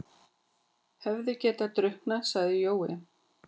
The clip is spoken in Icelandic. Hefði getað drukknað, sagði Jói.